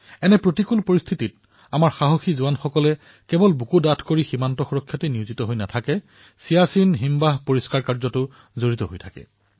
এনে বিকট পৰিস্থিতিত আমাৰ সাহসী সেনাসকলে কেৱল বুকু ফিন্দাই দেশৰ সীমাৰ ৰক্ষা কৰাই নহয় বৰঞ্চ তাত স্বচ্ছ চিয়াছিন অভিযানো পালন কৰিছে